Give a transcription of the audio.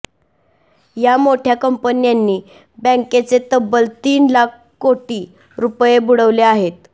या मोठय़ा कंपन्यांनी बँकांचे तब्बल तीन लाख कोटी रुपये बुडवले आहेत